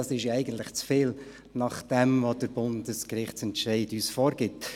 Dies ist eigentlich zu viel, nachdem was der Bundesgerichtsentscheid uns vorgibt.